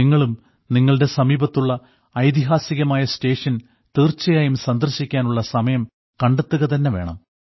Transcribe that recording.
നിങ്ങളും നിങ്ങളുടെ സമീപത്തുള്ള ഐതിഹാസികമായ സ്റ്റേഷൻ തീർച്ചയായും സന്ദർശിക്കാനുള്ള സമയം കണ്ടെത്തുക തന്നെ വേണം